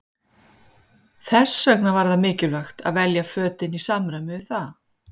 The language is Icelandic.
Þess vegna var það mikilvægt að velja fötin í samræmi við það.